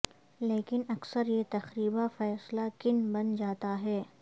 لیکن اکثر یہ تقریبا فیصلہ کن بن جاتا ہے